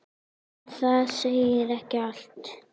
En það segir ekki allt.